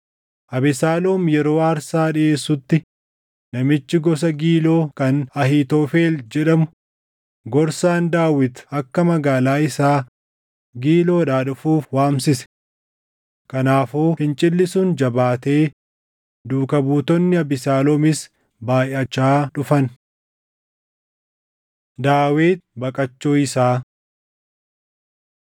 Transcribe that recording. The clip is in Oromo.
Abesaaloom yeroo aarsaa dhiʼeessutti namichi gosa Giiloo kan Ahiitofel jedhamu, gorsaan Daawit akka magaalaa isaa Giiloodhaa dhufuuf waamsise. Kanaafuu fincilli sun jabaatee duukaa buutonni Abesaaloomis baayʼachaa dhufan. Daawit Baqachuu Isaa